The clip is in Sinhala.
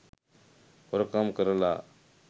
හොරකම් කරලා